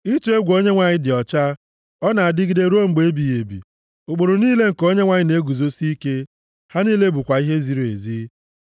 Ịtụ egwu Onyenwe anyị dị ọcha, ọ na-adịgide ruo mgbe ebighị ebi; ụkpụrụ niile nke Onyenwe anyị na-eguzosi ike, ha niile bụkwa ihe ziri ezi.